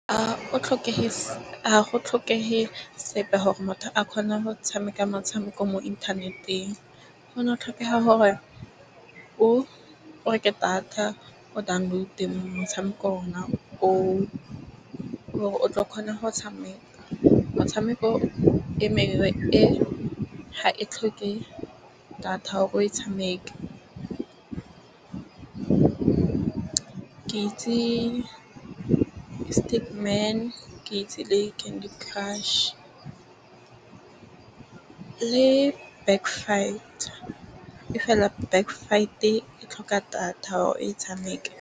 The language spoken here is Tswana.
A go tlhokege sepe gore motho a kgone go tshameka motshameko mo inthaneteng. Go ne go tlhokega gore o reke data o download-e motshameko ona o, e le kgore o tlo kgona go tshameka. Motshameko o e mengwe e ga e tlhoke data hore o e tshameke. Ke itse ke itse le Candy crush le Back Fight. Mme fela Back Fight e tlhoka data hore o e tshameke.